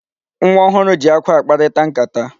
Nwa ọhụrụ ji akwa akparịta nkata.